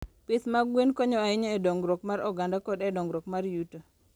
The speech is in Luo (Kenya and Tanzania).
Pith mag gwen konyo ahinya e dongruok mar oganda koda e dongruok mar yuto.